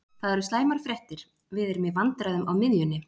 Það eru slæmar fréttir, við erum í vandræðum á miðjunni.